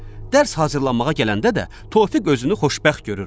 Dərs hazırlanmağa gələndə də Tofiq özünü xoşbəxt görürdü.